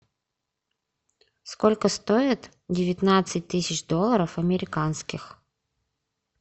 сколько стоит девятнадцать тысяч долларов американских